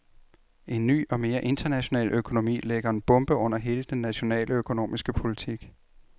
En ny og mere international økonomi lægger en bombe under hele den nationale økonomiske politik.